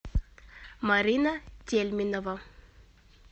марина тельминова